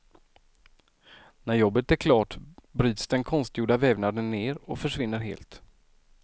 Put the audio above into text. När jobbet är klart bryts den konstgjorda vävnaden ner och försvinner helt.